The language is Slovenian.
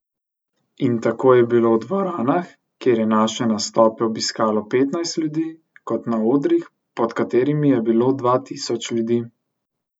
In tako je bilo v dvoranah, kjer je naše nastope obiskalo petnajst ljudi, kot na odrih, pod katerimi je bilo dva tisoč ljudi.